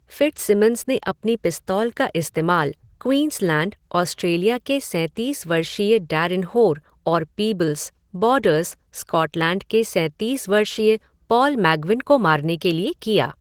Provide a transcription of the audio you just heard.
Fitzsimmons ने अपनी पिस्तौल का इस्तेमाल क्वींसलैंड, ऑस्ट्रेलिया के सैंतीस वर्षीय डैरेन होर और पीबल्स, बॉर्डर्स, स्कॉटलैंड के सैंतीस वर्षीय पॉल मैग्विन को मारने के लिए किया।